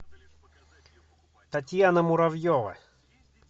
татьяна муравьева